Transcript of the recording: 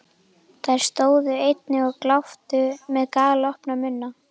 Þær stóðu einnig og gláptu með galopna munna.